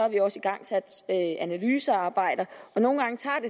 vi også igangsat analysearbejder og nogle